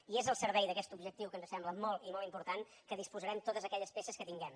i és al servei d’aquest objectiu que ens sembla molt i molt important que disposarem totes aquelles peces que tinguem